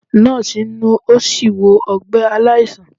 Nọọsi nu o si wọ ọgbẹ alaisan.